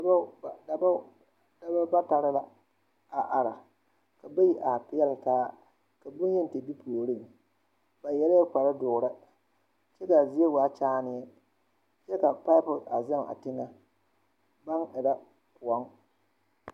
Dɔbɔ batare la a are ka bayi are peɛle taa ka bonyeni te be puoriŋ ba yɛrɛɛ kpardoɔre kyɛ kaa zie waa kyaane kyɛ ka paapo ɡaŋ a teŋɛ baŋ erɛ kõɔŋ.